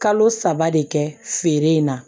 Kalo saba de kɛ feere in na